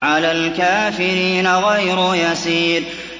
عَلَى الْكَافِرِينَ غَيْرُ يَسِيرٍ